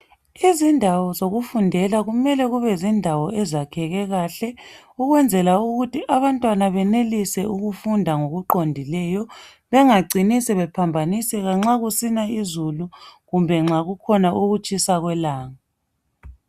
Izindawo zokufundela kumele kube zindawo ezakheke kahle ukwenzela ukuthi abantwana benelise ukufunda ngokuqondileyo bengacini sebephambaniseka nxa kusina izulu kumbe nxa kukhona ukutshisa kwelanga.